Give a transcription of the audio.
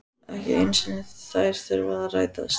Ekki einu sinni þær þurfa að rætast.